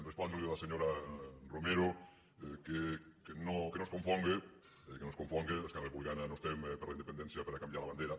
respondre a la senyora romero que no es confonga esquerra republicana no estem per la independència per a canviar la bandera